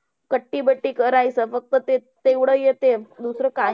कट्टी-बट्टी करायचं. फक्त ते तेवढं येतेय दुसरं काही